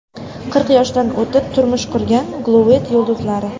Qirq yoshdan o‘tib turmush qurgan Gollivud yulduzlari.